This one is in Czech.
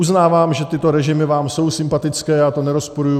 Uznávám, že tyto režimy vám jsou sympatické, já to nerozporuji.